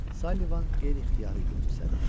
Sullivan qeyri-ixtiyari gülümsədi.